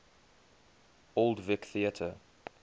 old vic theatre